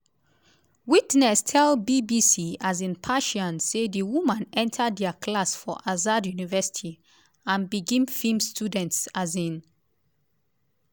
witness tell bbc um persian say di woman enta dia class for azad university and begin feem students. um